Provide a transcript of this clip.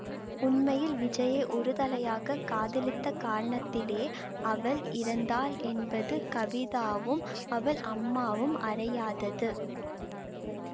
உண்மையில் விஜயை ஒருதலையாக காதலித்த காரணத்திலே அவள் இறந்தாள் என்பது கவிதாவும் அவள் அம்மாவும் அறியாதது